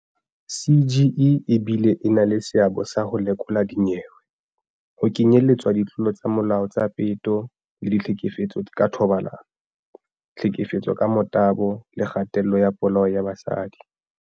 CGE e bile e na le seabo sa ho lekola dinyewe, ho kenyeletswa ditlolo tsa molao tsa peto le ditlhekefetso ka thobalano, tlhefetso ka motabo le kgatello le polao ya basadi.